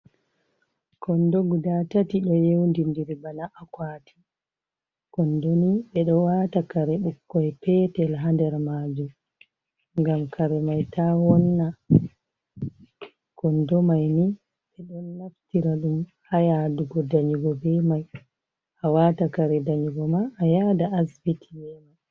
Kondo gudaa tati, ɗo yewndi-ndiri bana akwaati. Kondo ni ɓe ɗo waata kare ɓikkoy peetel ha nder maajum ngam kare mai taa wonna, kondo mai ni ɓe ɗon naftira ɗum ha yaadugo danyugo be mai, a waata kare danyugo ma, a yaada asibiti be mai.